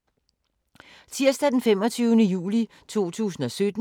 Tirsdag d. 25. juli 2017